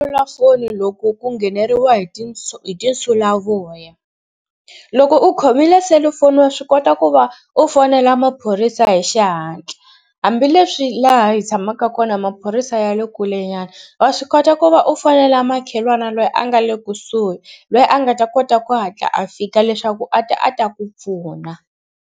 Selulafoni loko ku ngheneriwa hi hi tinsulavoya loko u khomile selufoni wa swi kota ku va u fonela maphorisa hi xihatla hambileswi laha hi tshamaka kona maphorisa ya le kulenyana wa swi kota ku va u fonela makhelwani loyi a nga le kusuhi lweyi a nga ta kota ku hatla a fika leswaku a ta a ta ku pfuna.